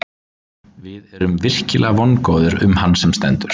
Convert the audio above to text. Við erum virkilega vongóðir um hann sem stendur.